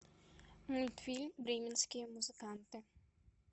мультфильм бременские музыканты